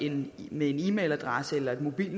en e mailadresse eller et mobil